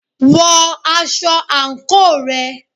Wọ aṣọ àǹkóò rẹ.